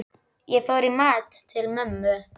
Ég fór í mat til mömmu.